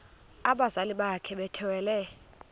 abazali bakhe bethwele